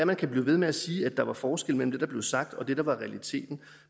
man kan blive ved med at sige at der var forskel mellem det der blev sagt og det der var realiteten